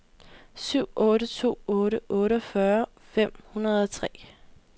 syv otte to otte otteogfyrre fem hundrede og tre